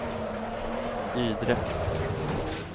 Ydre